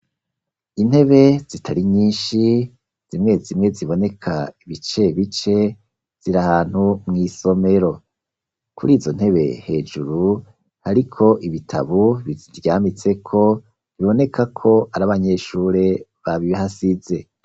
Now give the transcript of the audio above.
Intebe zitari nyinshi zimwe zimwe ziboneka ibice bice, ziri ahantu mw'isomero, kuri izo ntebe hejuru hariko ibitabu biziryamitse ko biboneka ko ari abanyeshure babihasize.